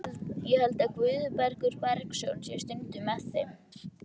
Ég held að Guðbergur Bergsson sé stundum með þeim.